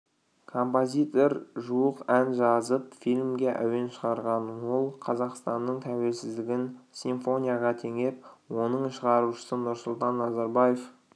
композитор жуық ән жазып фильмге әуен шығарған ол қазақстанның тәуелсіздігін симфонияға теңеп оның шығарушысы нұрсұлтан назарбаев